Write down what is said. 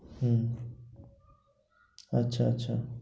হম আচ্ছা আচ্ছা